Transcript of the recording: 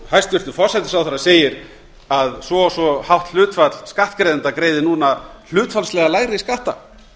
hæstvirtur forsætisráðherra segir að svo og svo hátt hlutfall skattgreiðenda greiði núna hlutfallslega lægri skatta